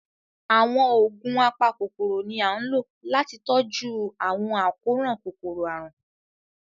Àwọn oogun apakọkọrọ ni a n lo lati tọju awọn akọran kòkọrọ-arun